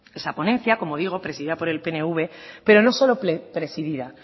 esa ponencia como digo presidida por el pnv pero no solo presidida